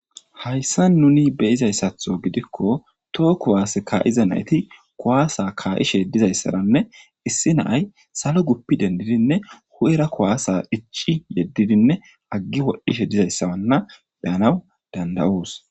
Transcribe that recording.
Haysan nuni beyizaysatho gidiko toho kuwase ka'iza nayti ka'ishe dizaysa issi na'ay guppidine huphera kuwasa ici yedidine agi wodhishe dizaysa beyana dandayos